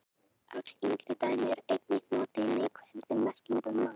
öll yngri dæmi eru einnig notuð í neikvæðri merkingu um mann